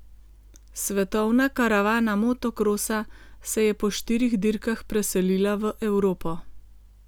Svetovna karavana motokrosa se je po štirih dirkah preselila v Evropo.